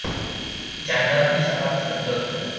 Janglar uy-safar tizimida o‘tadi.